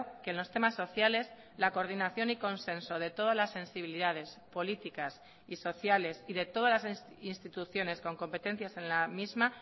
que en los temas sociales la coordinación y consenso de todas las sensibilidades políticas y sociales y de todas las instituciones con competencias en la misma